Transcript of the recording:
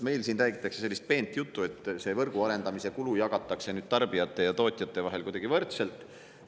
Meil siin räägitakse sellist peent juttu, et võrgu arendamise kulu jagatakse nüüd tarbijate ja tootjate vahel kuidagi võrdselt.